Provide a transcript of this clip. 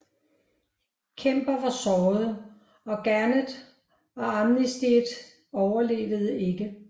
Kemper var såret og Garnett og Armistead overlevede ikke